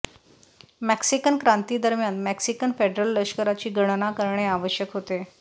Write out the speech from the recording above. Mexican क्रांती दरम्यान Mexican federal लष्कराची गणना करणे आवश्यक होते